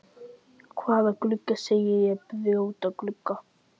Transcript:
Hvaða glugga segi ég, brjóta glugga?